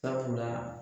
Sabula